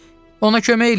Ona kömək eləyin!